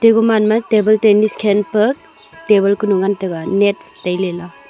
aguman ma table tennis khelpe table ngan taiga net tailela.